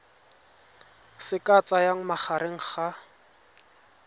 se ka tsayang magareng ga